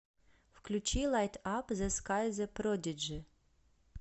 включи лайт ап зе скай зе продиджи